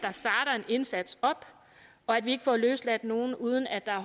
indsats og at vi ikke får løsladt nogle uden at der er